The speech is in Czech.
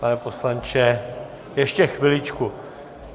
Pane poslanče, ještě chviličku.